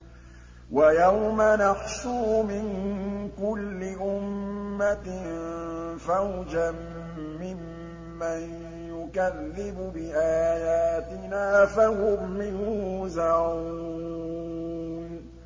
وَيَوْمَ نَحْشُرُ مِن كُلِّ أُمَّةٍ فَوْجًا مِّمَّن يُكَذِّبُ بِآيَاتِنَا فَهُمْ يُوزَعُونَ